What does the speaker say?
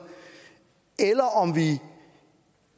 om vi